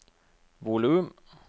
volum